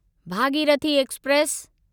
Bhagirathi express